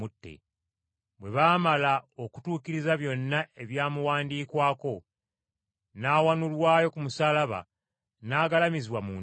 Bwe baamala okutuukiriza byonna ebyamuwandiikwako, n’awanulwayo ku musaalaba n’agalamizibwa mu ntaana.